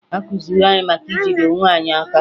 Akụziri anyị maka ijide onwe anyị aka